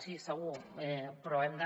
sí segur però hem de